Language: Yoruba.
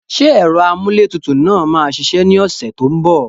Ṣé ẹ̀rọ amúlétutù náà máa ṣiṣẹ́ ní ọ̀sẹ̀ tó ń bọ̀?